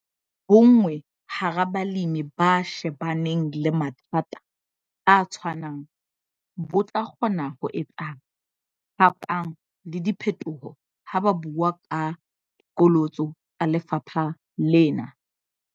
Bonngwe hara balemi ba shebaneng le mathata a tshwanang, bo tla kgona ho etsa phapang le diphetoho ha ba bua ka diqholotso tsa lefapha lena.